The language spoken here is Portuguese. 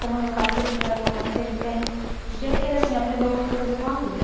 Como meu pai sempre viajou muito, ele tem. Diria que ele, assim, aprendeu muita coisa com a vida.